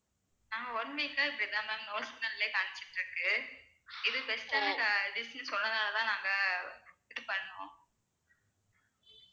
நாங்க one week ஆ இப்படி தான் no signal லேயே காமிச்சிட்டு இருக்கு இது best ஆன dish னு சொன்னலதான் நாங்க ஆஹ் இது பண்ணோம்